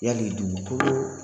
Yali dugu kolo